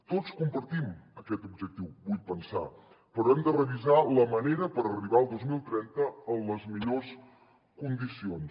tots compartim aquest objectiu vull pensar però hem de revisar la manera per arribar al dos mil trenta en les millors condicions